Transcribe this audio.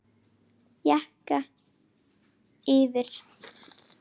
Jakka yfir?